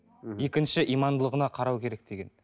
екінші имандылығына қарау керек деген